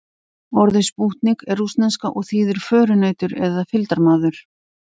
Orðið spútnik er rússneska og þýðir förunautur eða fylgdarmaður.